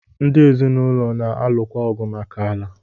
Ndi ezinụlọ na-alụkwa ọgụ maka ala.